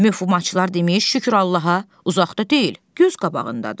Məxfiçilər demiş, şükür Allaha, uzaqda deyil, göz qabağındadır.